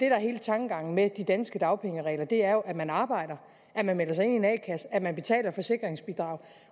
er hele tankegangen med de danske dagpengeregler er jo at man arbejder at man melder sig ind i en a kasse at man betaler forsikringsbidrag